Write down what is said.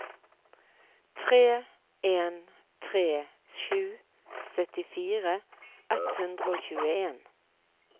tre en tre sju syttifire ett hundre og tjueen